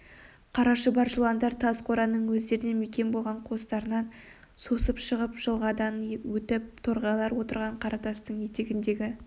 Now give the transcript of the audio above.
қара шұбар жыландар тас қораның өздеріне мекен болған қуыстарынан сусып шығып жылғадан өтіп торғайлар отырған қара тастың етегіндегі